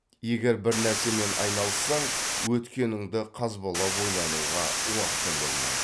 егер бірнәрсемен айналыссаң өткеніңді қазбалап ойлануға уақытың болмайды